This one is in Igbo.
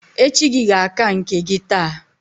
Echi gi ga-aka nke gi taa